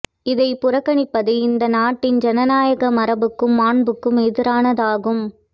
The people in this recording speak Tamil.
இதைப் புறக்கணிப்பது இந்த நாட்டின் ஜனநாயக மரபுக்கும் மாண்புக்கும் எதிரானதாகும்